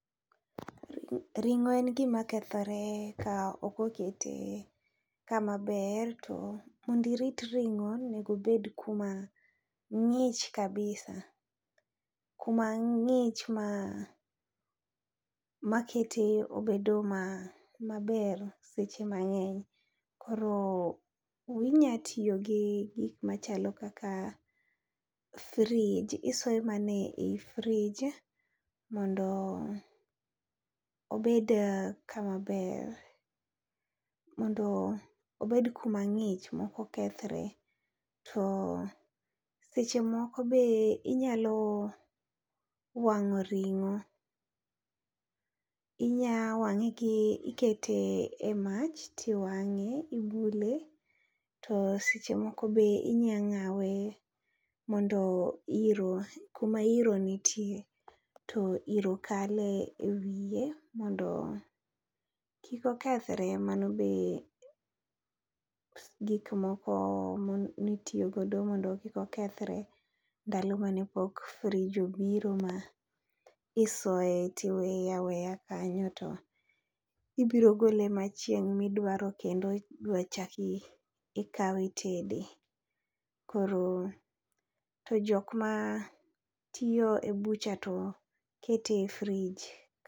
Ring'o en gima kethore ka okokete kama ber, to mondirit ring'o onegobed kuma ng'ich kabisa. Kuma ng'ich ma makete obedo maber seche mang'eny, koro inya tiyo gi gik machalo kaka fridge, isoyo mana e frij mondo obed kama ber. Mondo obed kuma ng'ich mokokethre. To seche moko be inyalo wang'o ring'o, inya wang'e gi ikete e mach tiwang'e. Ibule to eche moko be inya ng'awe mondo iro kuma iro nitie to iro kale e wiye mondo kik okethre. Mano be gik moko mitiyo godo mondo kikokethre ndalo mane pok frij obiro ma isoye tiweye aweya kanyo, to ibiro gole ma chieng' midwaro kendo ibro chaki ikawe itede. Koro to jok ma tiyo e bucha to kete e frij.